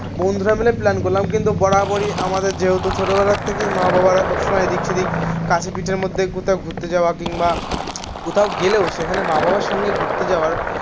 বন্ধুরা মিলে প্ল্যান করলাম কিন্তু বরাবরই আমাদের যেহেতু ছোটবেলার থেকে মা বাবারা সব সব সময় এদিক সেদিক কাছে পিঠের মধ্যে কোথাও ঘুরতে যাওয়া কিংবা কোথাও গেলেও সেখানে মা বাবার সঙ্গে ঘুরতে যাওয়ার